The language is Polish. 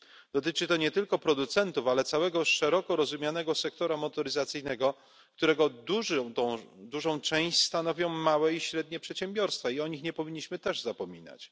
Dotyczy to nie tylko producentów, ale całego szeroko rozumianego sektora motoryzacyjnego, którego dużą część stanowią małe i średnie przedsiębiorstwa i o nich też nie powinniśmy zapominać.